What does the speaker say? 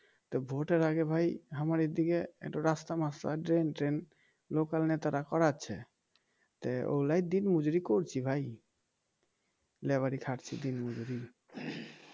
তা vote এর আগে ভাই আমার এদিকে একটু রাস্তা মাস্তা ড্রেন ট্রেন local নেতারা করাচ্ছে তা ওগুলাই দিন মজুরি করছি ভাই লেবারি খাটছি দিন মজুরি